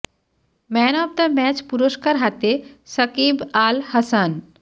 man of the match পুরস্কার হাতে সাকিব আল হাসান